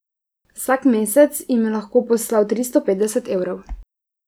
Vsak mesec jim je lahko poslal tristo petdeset evrov.